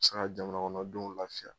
A bɛ se ka jamanakɔnɔ denw lafiya.